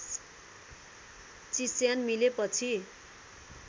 चिस्यान मिलेपछि